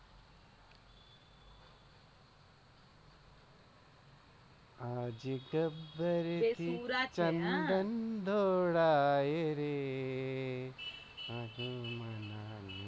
આજે ગબ્બર થ ચંદન ઢોળાય છે